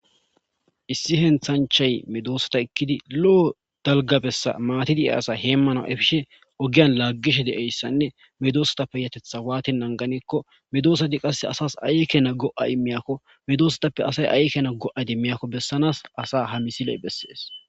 issi henthanchay medoossata ekkidi lo7o dalgabessa maatidiya asa heemmana efishe ogiyan laaggishe de7eyssanne medoosatappe yatetha waati anganikko medoosati qasse asas ayekena go7ay miyakko medoosatappe asay aekena go7adi miyakko bessanaas asa ha misiley bessees